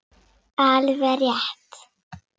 Alveg rétt.